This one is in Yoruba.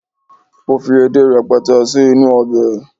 o fi edé rẹpẹtẹ sí inú obe